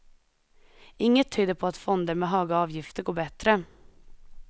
Inget tyder på att fonder med höga avgifter går bättre.